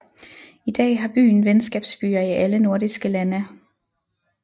I dag har byen venskabsbyer i alle nordiske lande